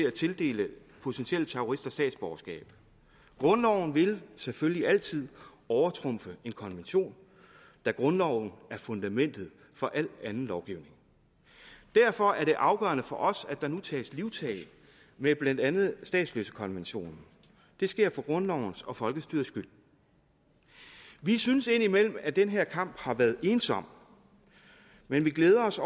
at tildele potentielle terrorister statsborgerskab grundloven vil selvfølgelig altid overtrumfe en konvention da grundloven er fundamentet for al anden lovgivning derfor er det afgørende for os at der nu tages livtag med blandt andet statsløsekonventionen det sker for grundlovens og folkestyrets skyld vi synes indimellem at den her kamp har været ensom men vi glæder os